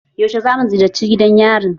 Yaushe za mu ziyarce gidan yarin?